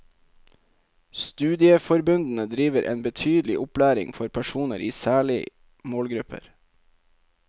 Studieforbundene driver en betydelig opplæring for personer i særlig målgrupper.